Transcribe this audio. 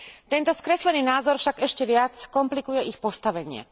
Tento skreslený názor však ešte viac komplikuje ich postavenie.